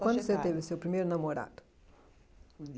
Faixa etária Quando você teve o seu primeiro namorado?